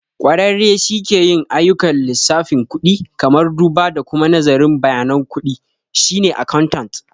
Ƙwararre shi ke yin ayyukan lissafin kudi, kamar duba da kuma nazarin bayanan kuɗi, shine accountant.